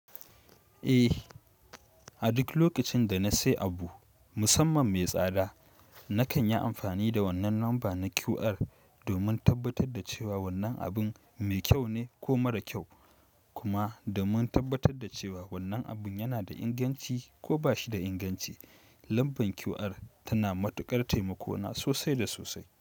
Eh, a duk lokacin da na sayi abu, musamman mai tsada, nakan yi amfani da wannan lamba na QR domin tabbatar da cewa wannan abin mai kyau ne ko mara kyau, kuma domin tabbatar da cewa wannan abun yana da inganci ko ba shi da inganci. Lambar QR tana matuƙar taimako na sosai da sosai.